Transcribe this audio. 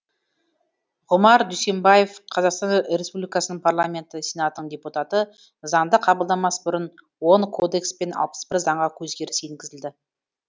ғұмар дүйсенбаев қазақстан республикасының парламенті сенатының депутаты заңды қабылдамас бұрын он кодекс пен алыс бір заңға өзгеріс енгізілді